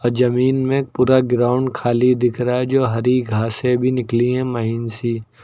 जमीन में पूरा ग्राउंड खाली दिख रहा है जो हरी घासे भी निकली है महीन सी।